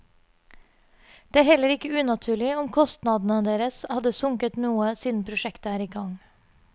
Det er heller ikke unaturlig om kostnadene deres hadde sunket noe siden prosjektet er i gang.